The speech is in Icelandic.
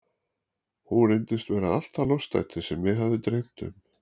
Hún reyndist vera allt það lostæti sem mig hafði dreymt um.